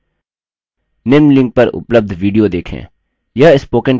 निम्न link पर उपलब्ध video देखें